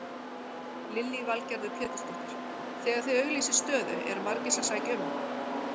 Lillý Valgerður Pétursdóttir: Þegar þið auglýsið stöðu eru margir sem sækja um?